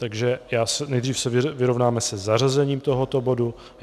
Takže nejdřív se vyrovnáme se zařazením tohoto bodu.